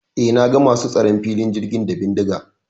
E, na ga masu tsaron filin jirgin da bindiga.